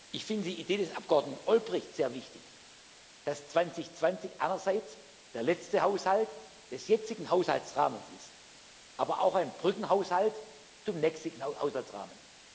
Ich finde die Idee des Abgeordneten Olbrycht sehr wichtig, dass 2020 einerseits der letzte Haushalt des jetzigen Haushaltsrahmens ist, aber auch ein Brückenhaushalt zum nächsten Haushaltsrahmen.